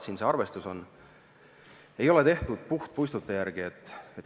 See arvestus ei ole tehtud puhtpuistute järgi.